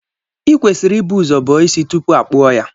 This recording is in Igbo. E kwesịrị i bu ụzọ bọọ isi tupuu a kpụọ ya.